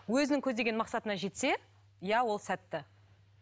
өзінің көздеген мақсатына жетсе иә ол сәтті